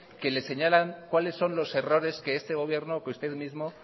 que le señalan cuáles son los errores que este gobierno o que usted mismo